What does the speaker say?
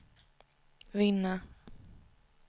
vinna